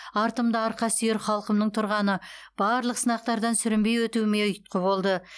артымда арқасүйер халқымның тұрғаны барлық сынақтардан сүрінбей өтуіме ұйытқы болды